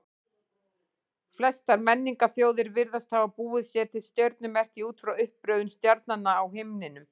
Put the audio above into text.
Flestar menningarþjóðir virðast hafa búið sér til stjörnumerki út frá uppröðun stjarnanna á himninum.